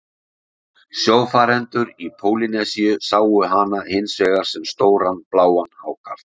Sjófarendur í Pólýnesíu sáu hana hins vegar sem stóran bláan hákarl.